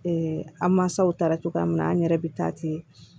an mansaw taara cogoya min na an yɛrɛ bɛ taa ten